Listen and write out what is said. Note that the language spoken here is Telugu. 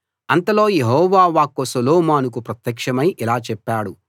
అంతలో యెహోవా వాక్కు సొలొమోనుకు ప్రత్యక్షమై ఇలా చెప్పాడు